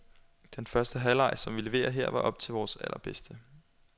Den første halvleg, som vi leverede her, var op til vores allerbedste.